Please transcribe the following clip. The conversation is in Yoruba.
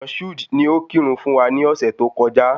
Moshood ni o kí ìrun fún wa ni ọ̀sẹ̀ tó kọjá